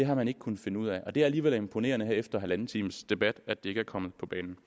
har man ikke kunnet finde ud af det er alligevel imponerende her efter halvanden times debat at det ikke er kommet på banen